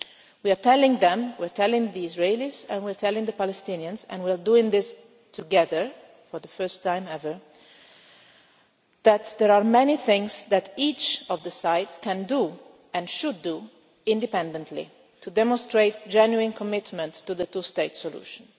on both sides. We are telling the Israelis and we are telling the Palestinians and we are doing this together for the first time ever that there are many things each side can do, and should do, independently to demonstrate genuine commitment to the two state